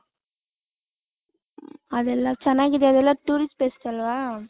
ಅದೆಲ್ಲ ಚೆನ್ನಾಗಿದೆ ಅದೆಲ್ಲ tourist places ಅಲ್ವ .